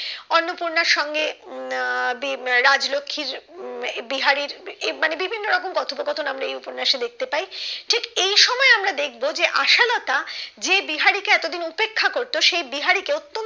অন্নপূর্ণার সঙ্গে আহ রাজলক্ষীর বিহারীর এই মানে বিভিন্ন রকম কথোপকথন আমরা এই উপন্যাসে দেখতে পাই ঠিক এই সময় আমরা দেখবো যে আশালতা যে বিহারি কে এতদিন উপেক্ষা করতো সেই বিহারি কে ও